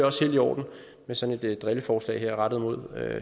også helt i orden med sådan et drilleforslag her rettet mod